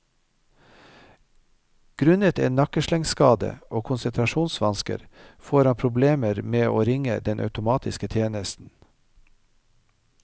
Grunnet en nakkeslengskade og konsentrasjonsvansker får han problemer med å ringe den automatiske tjenesten.